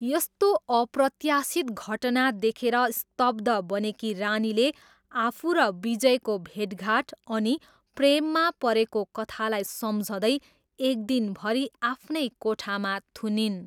यस्तो अप्रत्यासित घटना देखेर स्तब्ध बनेकी रानीले आफू र विजयको भेटघाट अनि प्रेममा परेको कथालाई सम्झँदै एक दिनभरि आफ्नै कोठामा थुनिइन्।